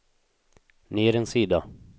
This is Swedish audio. ner en sida